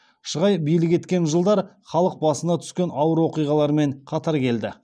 шығай билік еткен жылдар халық басына түскен ауыр оқиғалармен қатар келді